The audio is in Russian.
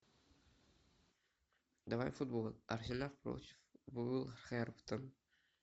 давай футбол арсенал против вулверхэмптон